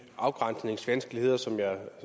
afgrænsningsvanskeligheder som jeg